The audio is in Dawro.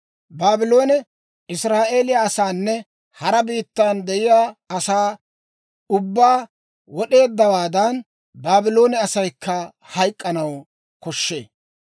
Baabloone Israa'eeliyaa asaanne hara biittan de'iyaa asaa ubbaa wod'eeddawaadan, Baabloone asaykka hayk'k'anaw koshshee.